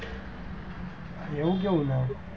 એવું કેવું નામે હતું?